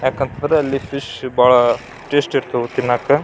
ಯಾಕಂತಂದ್ರೆ ಅಲ್ಲಿ ಫಿಶ್ ಭಾಳ ಟೇಸ್ಟ್ ಇರ್ತಾವು ತಿನ್ನಕ್ಕೆ.